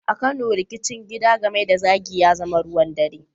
A Kano, rikicin gida, gami da zagi, ya zama ruwan dare.